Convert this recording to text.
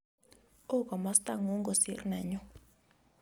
Oo komostangun kosir nanyu